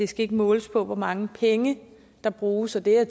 skal måles på hvor mange penge der bruges og det er